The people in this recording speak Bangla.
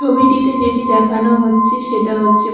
ছবিটিতে যেটি দেখানো হচ্ছে সেটা হচ্ছে--